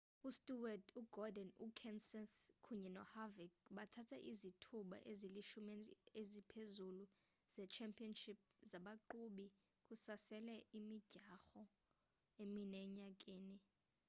ustewart ugordon ukenseth kunye noharvick bathatha izithuba ezilishumi eziphezulu ze-championship zabaqhubi kusasele imidyarho emine enyakeni